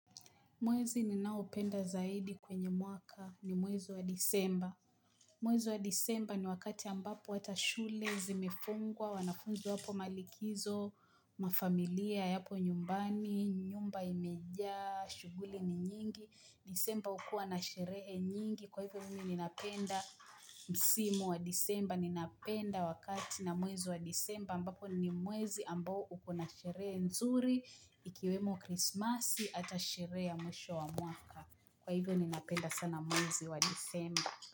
Mwezi ninaopenda zaidi kwenye mwaka ni mwezi wa disemba. Mwezi wa disemba ni wakati ambapo hata shule zimefungwa, wanafunzi wapo malikizo, mafamilia yapo nyumbani, nyumba imejaa, shughuli ni nyingi. Disemba hukua na sherehe nyingi kwa hivyo mimi ninapenda msimu wa disemba Ninapenda wakati na mwezi wa disemba ambapo ni mwezi ambao uko na sherehe nzuri Ikiwemo krismasi ata sherehe ya mwisho wa mwaka. Kwa hivyo ninapenda sana mwezi wa disemba.